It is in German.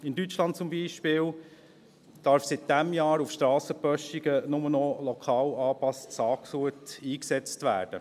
In Deutschland zum Beispiel darf seit diesem Jahr auf Strassenböschungen nur noch lokal angepasstes Saatgut eingesetzt werden.